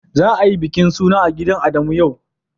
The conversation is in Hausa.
Za a yi bikin suna a gidan Adamu yau.